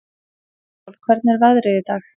Snæsól, hvernig er veðrið í dag?